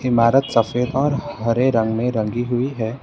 इमारत सफ़ेद और हरे रंग में रंगी हुई है।